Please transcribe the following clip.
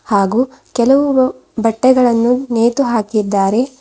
ಹಾಗು ಕೆಲವು ಬಟ್ಟೆಗಳನ್ನು ನೇತು ಹಾಕಿದ್ದಾರೆ.